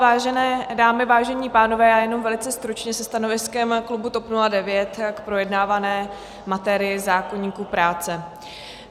Vážené dámy, vážení pánové, já jenom velice stručně se stanoviskem klubu TOP 09 k projednávané materii, zákoníku práce.